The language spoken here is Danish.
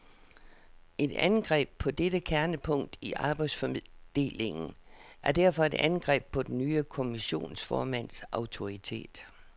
Et angreb på dette kernepunkt i arbejdsfordelingen er derfor et angreb på den nye kommissionsformands autoritet.